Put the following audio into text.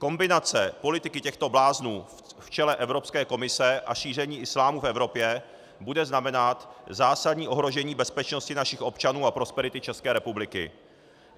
Kombinace politiky těchto bláznů v čele Evropské komise a šíření islámu v Evropě bude znamenat zásadní ohrožení bezpečnosti našich občanů a prosperity České republiky.